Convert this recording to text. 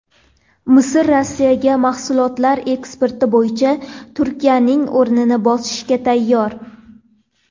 Misr Rossiyaga mahsulotlar eksporti bo‘yicha Turkiyaning o‘rnini bosishga tayyor.